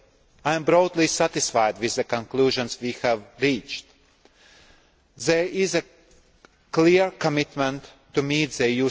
I am broadly satisfied with the conclusions we have reached. There is a clear commitment to meet